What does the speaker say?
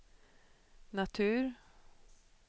natur